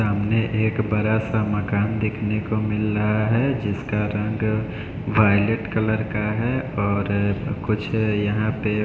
सामने एक बड़ा सा माकन देखने को मिल रहा है जिसका रंग वायलेट कलर का है और अः कुछ अः यहाँ पे --